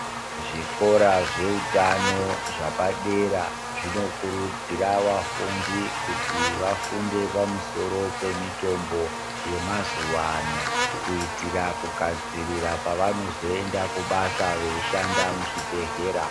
Zvikora zve hutano zvepadera zvinokuridzira vafundi kuti vafunde pamusoro pe mitombo yema zuva ano kuitira kugadzirira pavano zoenda kubasa vei shanda muzvi bhehlera.